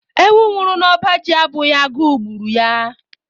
Ewu nwụrụ n'ọba ji abụghị agụụ gburu ya.